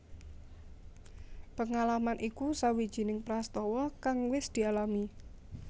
Pengalaman iku sawijining prastawa kang wis dialami